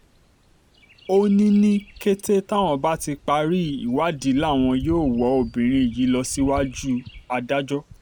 ó ní ní kété táwọn bá ti parí ìwádìí làwọn yóò wọ obìnrin yìí lọ síwájú adájọ́